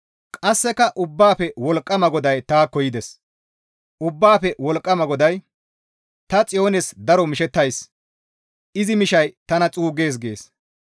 Ubbaafe Wolqqama GODAY, «Ta Xiyoonis daro mishettays; izi mishay tana xuuggees» gees.